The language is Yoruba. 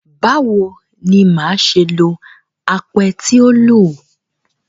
Báwo ni màá ṣe lo apẹ tí o lò?